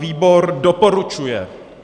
Výbor doporučuje.